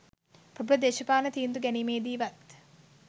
ප්‍රභල දේශපාලන තීන්දු ගැනීමේදිවත්